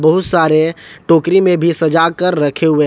बहुत सारे टोकरी में भी सजाकर रखे हुए हैं।